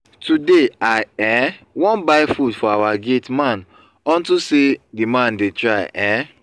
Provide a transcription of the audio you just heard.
today i um wan buy food for our gate man unto say the man dey try um